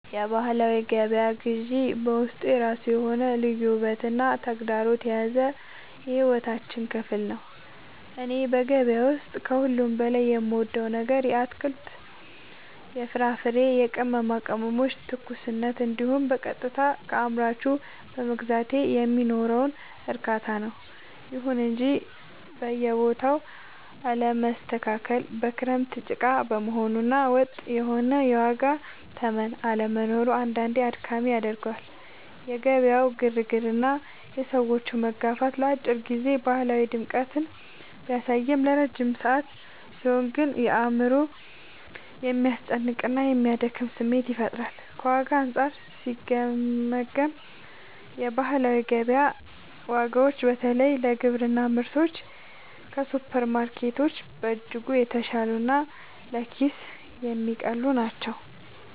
የባህላዊ ገበያ ግዢ በውስጡ የራሱ የሆነ ልዩ ውበትና ተግዳሮት የያዘ የሕይወታችን ክፍል ነው። እኔ በገበያ ውስጥ ከሁሉ በላይ የምወደው ነገር የአትክልት፣ የፍራፍሬና የቅመማ ቅመሞችን ትኩስነት እንዲሁም በቀጥታ ከአምራቹ በመግዛቴ የሚኖረውን እርካታ ነው። ይሁን እንጂ የቦታው አለመስተካከል፣ በክረምት ጭቃ መሆኑ እና ወጥ የሆነ የዋጋ ተመን አለመኖሩ አንዳንዴ አድካሚ ያደርገዋል። የገበያው ግርግርና የሰዎች መጋፋት ለአጭር ጊዜ ባህላዊ ድምቀትን ቢያሳይም፣ ለረጅም ሰዓት ሲሆን ግን አእምሮን የሚያስጨንቅና የሚያደክም ስሜት ይፈጥራል። ከዋጋ አንጻር ሲገመገም፣ የባህላዊ ገበያ ዋጋዎች በተለይ ለግብርና ምርቶች ከሱፐርማርኬቶች በእጅጉ የተሻሉና ለኪስ የሚቀልሉ ናቸው።